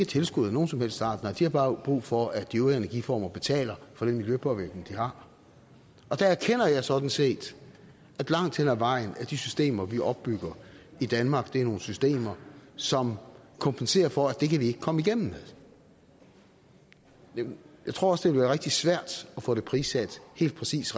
tilskud af nogen som helst art nej de har bare brug for at producenterne af de øvrige energiformer betaler for den miljøpåvirkning de har der erkender jeg sådan set at de systemer vi opbygger i danmark er nogle systemer som kompenserer for at det kan vi ikke komme igennem med jeg tror også det ville være rigtig svært at få det prissat helt præcist